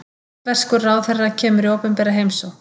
Indverskur ráðherra kemur í opinbera heimsókn